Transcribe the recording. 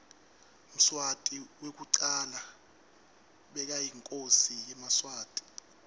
mswati wekucala bekayinkhosi yemaswati